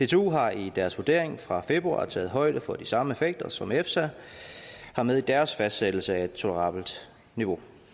dtu har i deres vurdering fra februar taget højde for de samme effekter som efsa har med i deres fastsættelse af et tolerabelt niveau